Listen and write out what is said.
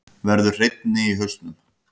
Verður hreinni í hausnum.